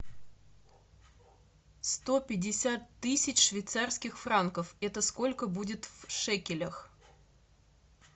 сто пятьдесят тысяч швейцарских франков это сколько будет в шекелях